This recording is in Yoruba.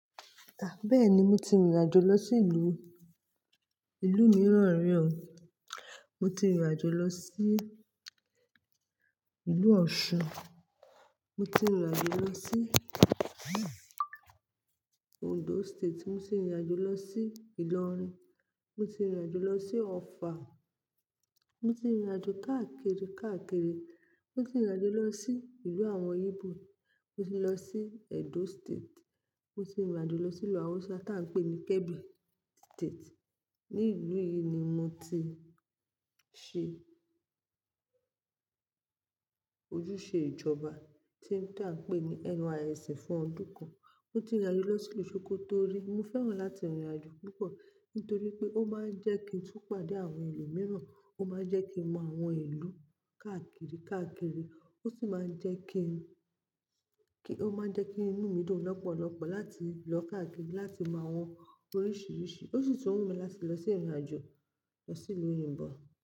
Bẹ́ẹ̀ni moti rìnrìn àjò lọ sí ìlú, ìlú mìíràn rí o. Moti rìnrìn àjò lọ sí ìlú Osun, moti rìnrìn àjò lọ sí Ondo State, moti rìnrìn àjò lọ sí Ìlọrin, moti rìnrìn àjò lọ sí Offa. Moti rìnrìn àjò káàkiri, káàkiri. Moti rìnrìn àjò lọ sí ìlú àwọn Ibo, mo ti lọ sí Edo State, moti rìnrìn àjò lọ sí ìlú Hausa tí à ń pè ní Kebbi State. Ní ìlú yìí ni moti ṣe ojúṣe ìjọba tí ań pè ní NYSC fún ọdún kan. Moti rìnrìn àjò lọ sí ìlú Sokoto rí. Mo fẹ́ràn láti rìnrìn àjò púpọ̀ nítorí pé ó máań jẹ́ kín tú pàdé àwọn ẹlòmíràn, ó máań jẹ́ kí n mọ àwọn ìlú káàkiri, káàkiri ósì máań jẹ́ kí, kí, ó máa ń jẹ́ kí inú mi dùn lọ́pọ̀lọ́pọ̀ láti lọ káàkiri láti mọ àwọn oríṣiríṣi. Ósì tún wù mí láti lọ sí ìrìn àjò lọ sí ìlú òyìnbó.